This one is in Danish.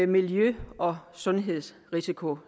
miljø og sundhedsrisiko